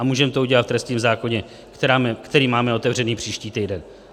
A můžeme to udělat v trestním zákoně, který máme otevřený příští týden.